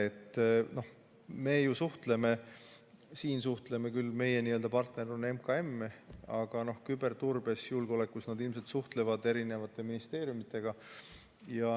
Me suhtleme ju, siin on meie suhtluspartner küll MKM, aga küberturbes ja julgeolekus nad suhtlevad eri ministeeriumitega.